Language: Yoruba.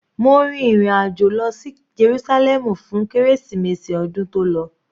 Mo rìn ìrin àjò lọ sí Jerúsálẹ́mù fún kérésìmesì ọdún tó lọ.